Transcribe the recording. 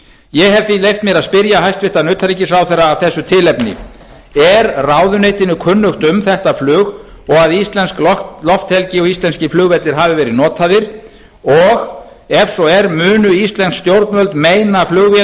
ég hef því leyft mér að spyrja hæstvirtan utanríkisráðherra af þessu tilefni er ráðuneytinu kunnugt um þetta flug og íslensk lofthelgi og íslenskir flugvellir hafa verið notaðir og ef svo er munu íslensk stjórnvöld meina